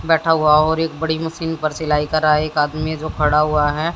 बैठा हुआ और एक बड़ी मशीन पर सिलाई कर रहा है एक आदमी है जो खड़ा हुआ है।